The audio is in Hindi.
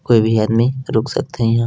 कोई भी आदमी रुक सकथे ईहाँ--